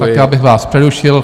Tak já bych vás přerušil.